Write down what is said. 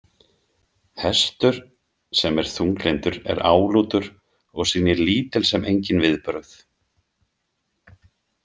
Hestur sem er þunglyndur er álútur og sýnir lítil sem engin viðbrögð.